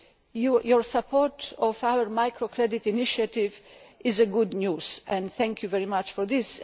tools. Your support for our micro credit initiative is good news, and I thank you very much for